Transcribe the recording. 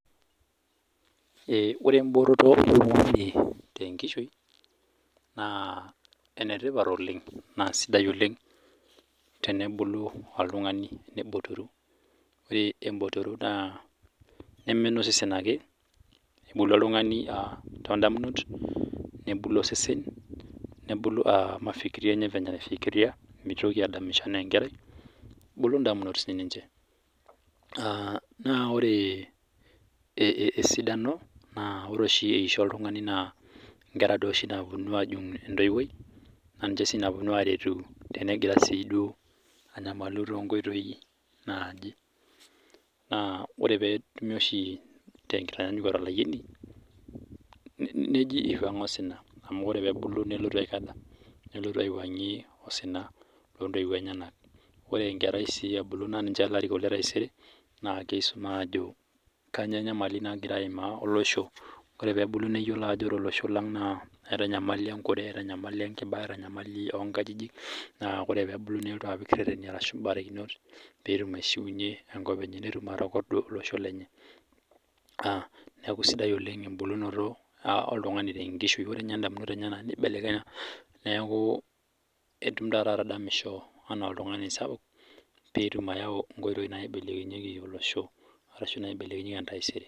ore emboototo oltung'ani tengishui naa kisidai oleng ore ebotoro neme enosesen ake kebulu oltung'ani too idamunot, nebulu osesen nebulu mafikiri enyanak venye naifikireia mitoki adamisho enaa enkerai nebulu idamunok sii niche, naa ore esidano naa ore eisho oltung'ani naa inkera dii oshi naapuonu ajung' entoiwuoi naa niche naa puonu aretu tenegira siiduo apongori too inkoitoi, naa ore pee etumi oshi tengitaa nyanyukoto olayioni, neji ipang'a osina amu oree pee ebulu too intowuo enyanak ore enkerai sii ninye ore teisere kisum ajo kanyioo enyamali nagira aima olosho ore pee ebulu neyiolo ajo ore olosho lang eeta enyamali enkure eeta enyamali oo inkajijik ore pee ebulu nelotu apik irereni ashu ibarakinot, netum atokordu olosho lenye neeku sidai oleng ebulunoto oltung'ani tenkishu ore ninye idamunot enyanak neeku etum taata atadamisho enaa oltung'ani sapuk pee etum ayau inkoitooi naibelekenyieki olosho arashu naibelekenyieki entaaisere.